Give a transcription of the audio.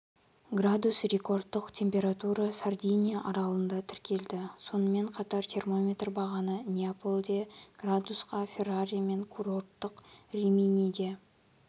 градус рекордтық температура сардиния аралында тіркелді сонымен қатар термометр бағаны неаполде градусқа ферраре мен курорттық риминиде